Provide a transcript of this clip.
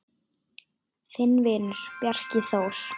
Þinn vinur, Bjarki Þór.